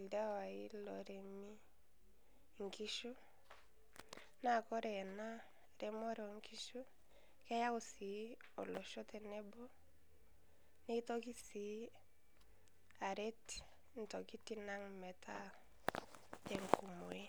ldewai loremii nkishuu naa kore ena remore o nkishuu keyau sii olosho tenebo. Neitokii sii areet ntokitin ang' metaa enkumore.